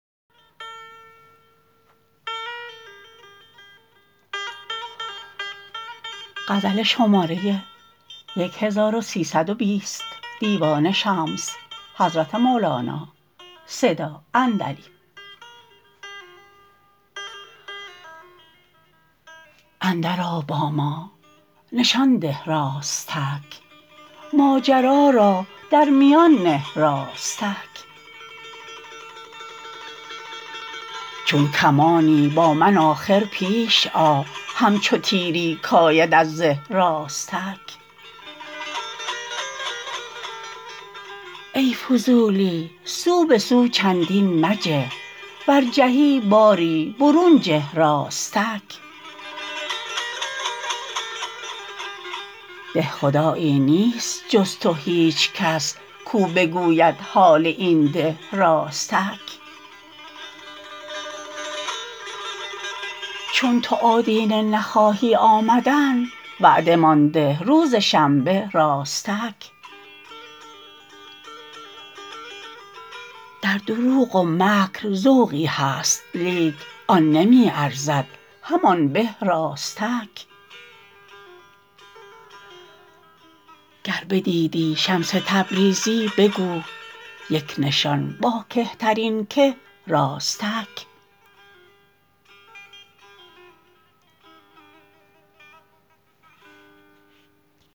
اندرآ با ما نشان ده راستک ماجرا را در میان نه راستک چون کمانی با من آخر پیش آ همچو تیری کید از زه راستک ای فضولی سو به سو چندین مجه ور جهی باری برون جه راستک ده خدایی نیست جز تو هیچ کس کو بگوید حال این ده راستک چون تو آدینه نخواهی آمدن وعده مان ده روز شنبه راستک در دروغ و مکر ذوقی هست لیک آن نمی ارزد همان به راستک گر بدیدی شمس تبریزی بگو یک نشان با کهترین که راستک